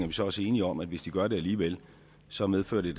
vi så også enige om at hvis de gør det alligevel så medfører det